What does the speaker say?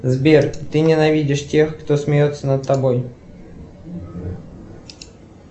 сбер ты ненавидишь тех кто смеется над тобой